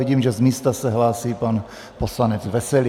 Vidím, že z místa se hlásí pan poslanec Veselý.